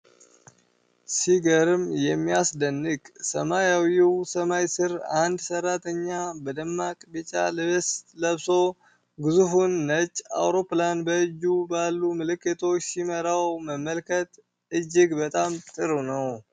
ሲገርም የሚያስደንቅ! ሰማያዊው ሰማይ ስር፣ አንድ ሰራተኛ በደማቅ ቢጫ ልብስ ለብሶ፣ ግዙፉን ነጭ አውሮፕላን በእጁ ባሉ ምልክቶች ሲመራው መመልከት እጅግ ብጣም ጥሩ ነው።